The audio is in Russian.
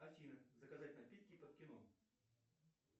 афина заказать напитки под кино